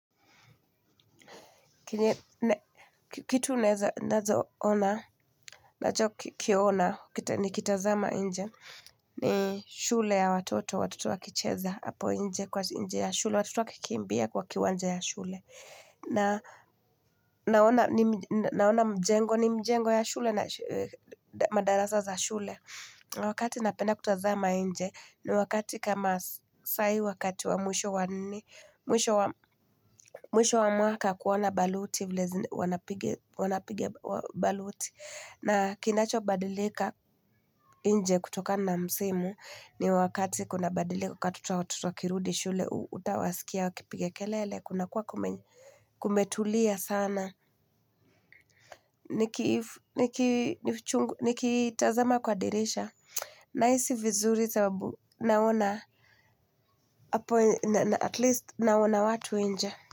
Kitu naeza ona, nachokiona, nikitazama nje, ni shule ya watoto, watoto wakicheza hapo nje kwa nje ya shule, watoto wakikimbia kwa kiwanja ya shule. Naona mjengo ni mjengo ya shule na madarasa za shule. Wakati napenda kutazama nje ni wakati kama sai wakati wa mwisho wa mwaka kuona baluti wanapiga baluti. Na kinacho badilika nje kutokana msimu ni wakati kunabadilika kwa watoto wakirudi shule utawasikia wakipiga kelele. Kunakuwa kumetulia sana, nikitazama kwa dirisha. Nahisi vizuri sababu naona Atleast naona watu nje.